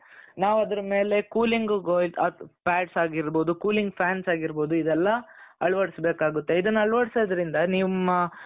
ನಾವ್ ಆದರ ಮೇಲೆ cooling pads ಆಗಿರಬಹುದು cooling fans ಆಗಿರಬಹುದು ಇದೆಲ್ಲಾ ಅಳವಡಿಸಬೇಕಾಗುತ್ತೆ ಇದನ್ನ ಅಳವಡಿಸೋದ್ರಿಂದ ನಿಮ್ಮ